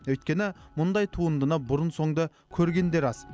өйткені мұндай туындыны бұрын соңды көргендер аз